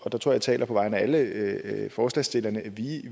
jeg taler på vegne af alle forslagsstillerne